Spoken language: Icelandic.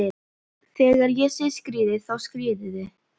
Þegar ég segi skríðið, þá skríðið þið.